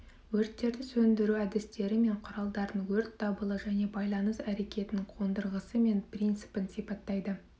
өрттерді сөндіру әдістері мен құралдарын өрт дабылы және байланыс әрекетінің қондырғысы мен принципін сипаттайды